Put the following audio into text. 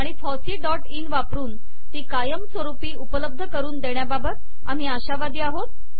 आणि फॉसीइन वापरून ती कायमस्वरूपी उपलब्ध करून देण्याबाबत आम्ही आशावादी आहोत